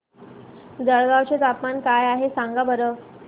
जळगाव चे तापमान काय आहे सांगा बरं